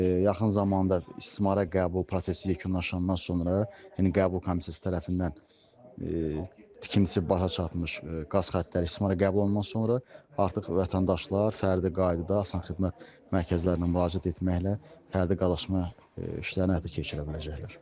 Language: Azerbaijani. Yaxın zamanda istismara qəbul prosesi yekunlaşandan sonra, yəni qəbul komissiyası tərəfindən tikintisi başa çatmış qaz xəttləri istismara qəbul olunan sonra artıq vətəndaşlar fərdi qaydada asan xidmət mərkəzlərinə müraciət etməklə fərdi qaza qoşula biləcəklər.